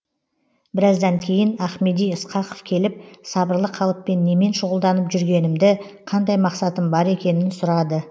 біраздан кейін ахмеди ысқақов келіп сабырлы қалыппен немен шұғылданып жүргенімді қандай мақсатым бар екенін сұрады